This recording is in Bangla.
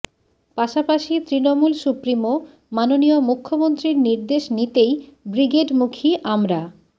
পাশাপাশি তৃণমূল সুপ্রিমো মাননীয় মুখ্যমন্ত্রীর নির্দেশ নিতেই ব্রিগেডমুখী আমরা